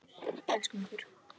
Elskum ykkur.